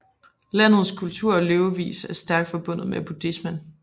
Landets kultur og levevis er stærk forbundet med buddhismen